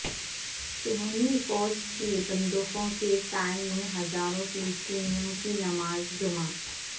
صہیونی فوج کی بندوقوں کے سائے میں ہزاروں فلسطینیوں کی نماز جمعہ